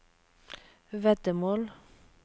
veddemål